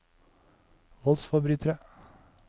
voldsforbrytere